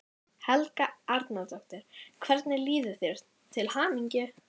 Helga Arnardóttir: Hvernig líður þér, til hamingju?